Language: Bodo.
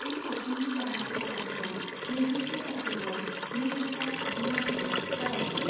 बे सावथुननि गाहाय फट'ग्राफीया नैजिसे अक्ट'बर नैरोजा जिस्नि मायथाइयाव जागायदोंमोन।